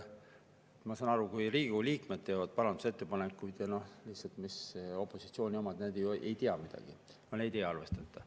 Ma saan aru, et kui Riigikogu liikmed teevad parandusettepanekuid, siis kuna opositsiooni ju ei tea midagi, nende ei arvestata.